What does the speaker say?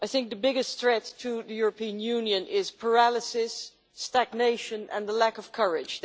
The biggest threat to the European Union is paralysis, stagnation and a lack of courage.